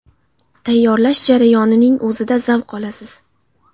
Tayyorlash jarayoning o‘zida zavq olasiz.